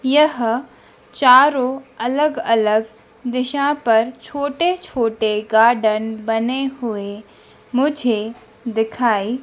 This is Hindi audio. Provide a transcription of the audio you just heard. यह चारों अलग-अलग दिशा पर छोटे-छोटे गार्डन बने हुए मुझे दिखाई --